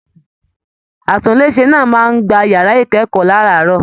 Àtùnlèse náà máa n gbà yàrá ikẹkọọ láràárọ̀.